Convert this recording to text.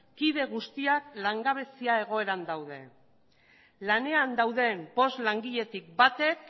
kide guztiak langabezia egoeran daude lanean dauden bost langiletik batek